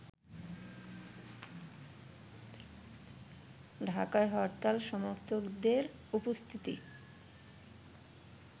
ঢাকায় হরতাল সমর্থকদের উপস্থিতি